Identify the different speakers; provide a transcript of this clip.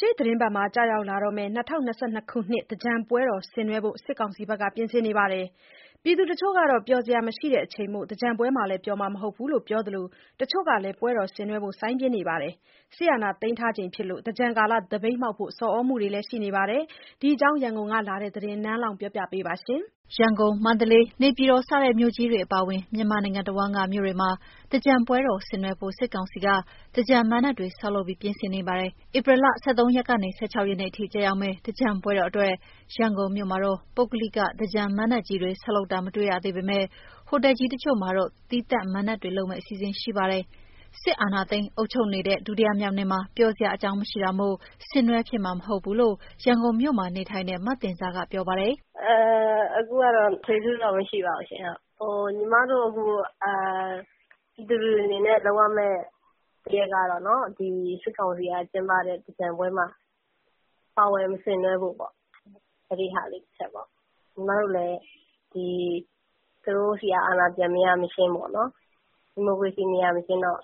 Speaker 1: ရှေ့သီတင်းပတ်မှာကျရောက်လာမယ့် ၂၀၂၂ ခုနှစ် သင်္ကြန်ပွဲတော်ဆင်နွဲဖို့ စစ်ကောင်စီက ပြင်ဆင်နေပါတယ်။ ပြည်သူတချို့ ကတော့ ပျော်စရာမရှိချိန်မို့ သင်္ကြန်ပွဲမှာလည်း ပျော်ဖြစ်မှာမဟုတ်ဘူးလို့ ပြောကြသလို တချို့ကလည်း ပွဲတော်ဆင်နွဲဖို့ စိုင်းပြင်းနေကြပါတယ်။ စစ်အာဏာသိမ်းထားချိန်ဖြစ်လို့ သင်္ကြန်ကာလ သပိတ်မှောက်ဖို့ ဆော်သြနေတာတွေလည်းရှိနေပါတယ်။ ဒီအကြောင်း ရန်ကုန်ကလာတဲ့ သတင်းအပြည့်အစုံကို နန်းလောဝ်က တင်ပြပေးထားပါတယ်။ ရန်ကုန်၊ မန္တလေး၊ နေပြည်တော် စတဲ့မြို့ကြီးတွေအပါအဝင် မြန်မာနိုင်ငံတဝန်းက မြို့တွေမှာ သင်္ကြန်ပွဲတော်ဆင်နွဲဖို့ စစ်ကောင်စီက သင်္ကြန်မဏ္ဍပ်တွေ ဆောက်လုပ် ပြင်ဆင်နေပါတယ်။ ဧပြီလ ၁၃ ရက်ကနေ ၁၆ ရက်နေ့အထိ ကျရောက်မယ့် သင်္ကြန် ပွဲတော်အတွက် ရန်ကုန်မြို့မှာတော့ ပုဂ္ဂလိက သင်္ကြန်မဏ္ဍပ်ကြီးတွေ ဆောက်လုပ်တာ မတွေ့ရသေးပေမယ့် ဟိုတယ်ကြီးတချို့မှာ သီးသန့် သင်္ကြန်ပွဲလုပ်မယ့် အစီအစဉ်တွေ ရှိပါတယ်။ စစ်အာဏာသိမ်း အုပ်ချုပ်နေတာ ဒုတိယမြောက်နှစ်မှာ ပျော်စရာအကြောင်း မရှိတာမို့ ဆင်နွဲဖြစ်မှာ မဟုတ်ဘူးလို့ ရန်ကုန်မြို့မှာနေထိုင်တဲ့ မသဉ္ဇာက ပြောပါတယ်။
Speaker 2: "ဒီနှစ်ကတော့ ထွေထွေထူးထူးတော့ မရှိပါဘူးရှင့်။ ညီမတို့ ပြည်သူတွေအနေနဲ့ လုပ်ရမယ့်အချက်ကတော့ စစ်ကောင်စီက လုပ်တဲ့ သင်္ကြန်ပွဲမှာ မပါဝင်၊ မဆင်နွှဲဖို့ပေါ့။ ညီမတို့လည်း သူတို့ဆီက အာဏာပြန်မရမချင်း၊ ဒီမိုကရေစီ မရမချင်းတော့